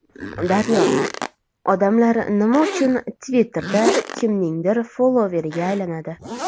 Daryo: Odamlar nima uchun Twitter’da kimningdir followeriga aylanadi?